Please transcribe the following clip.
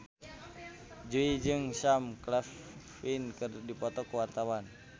Jui jeung Sam Claflin keur dipoto ku wartawan